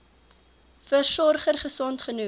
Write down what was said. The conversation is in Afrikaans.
versorger gesond genoeg